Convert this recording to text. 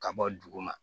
Ka bɔ duguma